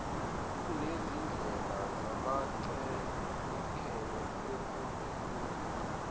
kunezindlela zamachemikheli ekuzikeleni